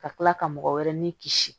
Ka tila ka mɔgɔ wɛrɛ ni kisi